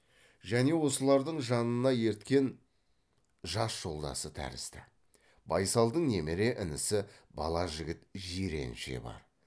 және осылардың жанына ерткен жас жолдасы тәрізді байсалдың немере інісі бала жігіт жиренше бар